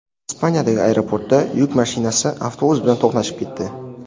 Ispaniyadagi aeroportda yuk mashinasi avtobus bilan to‘qnashib ketdi.